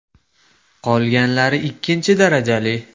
Qolganlari ikkinchi darajali.